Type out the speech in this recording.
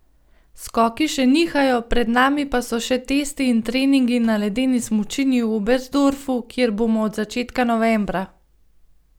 Skoki še nihajo, pred nami pa so še testi in treningi na ledeni smučini v Oberstdorfu, kjer bomo od začetka novembra.